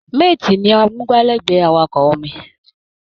Mate ni amúgbálẹ́gbẹ̀ẹ́ awakọ̀ omi